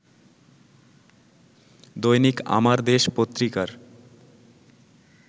দৈনিক আমার দেশ পত্রিকার